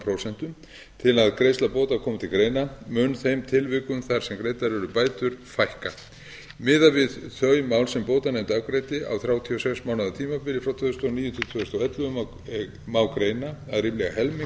prósent til að greiðsla bóta komi til greina mun þeim tilvikum þar sem greiddar eru bætur fækka miðað við þau mál sem bótanefnd afgreiddi á þrjátíu og sex mánaða tímabili frá tvö þúsund og níu til tvö þúsund og ellefu má greina að ríflega helmingur